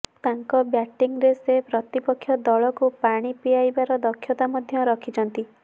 ତାଙ୍କ ବ୍ୟାଟିଂରେ ସେ ପ୍ରତିପକ୍ଷ ଦଳକୁ ପାଣି ପିଆଇବାର ଦକ୍ଷତା ମଧ୍ୟ ରଖିଛନ୍ତି